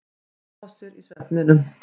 Hún brosir í svefninum.